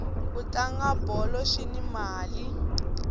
ku tlanga bolo swini mali